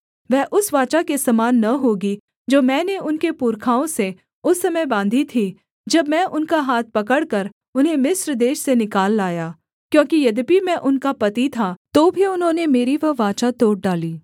वह उस वाचा के समान न होगी जो मैंने उनके पुरखाओं से उस समय बाँधी थी जब मैं उनका हाथ पकड़कर उन्हें मिस्र देश से निकाल लाया क्योंकि यद्यपि मैं उनका पति था तो भी उन्होंने मेरी वह वाचा तोड़ डाली